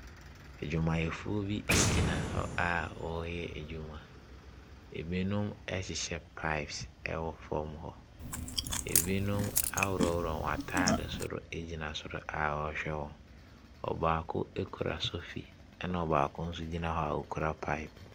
Adwumayɛfoɔ bi gyina hɔ a wɔreyɛ adwuma. Ebinom rehyehyɛ pipes wɔ fam hɔ. Ebinom aworɔworɔ wɔn ataadesoro egyina soro a ɔrehwɛ wɔn. Ɔbaako kura sofi. Na ɔbaako nso gyina hɔ a okura pipes.